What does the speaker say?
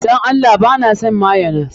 Dan Allah ba na son mayonnaise.